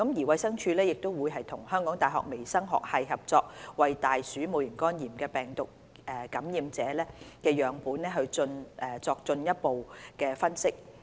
衞生署亦會與香港大學微生物學系合作，為大鼠戊型肝炎病毒感染者的樣本進行進一步分析。